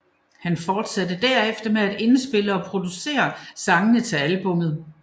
Han forsatte derefter med at indspille og producere sangene til albummet